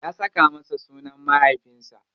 Ya saka masa sunan mahaifinsa.